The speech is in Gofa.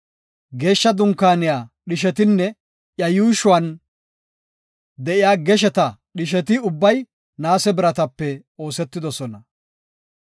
Geeshsha Dunkaaniya dhishetinne iya yuushuwan de7iya gesheta dhisheti ubbay naase biratape oosetidosona.